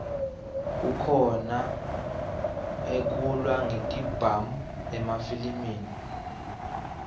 kukhona ekulwa ngetibhamu emafilimi